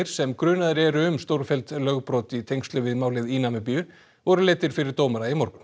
sem grunaðir eru um stórfelld lögbrot í tengslum við málið í Namibíu voru leiddir fyrir dómara í morgun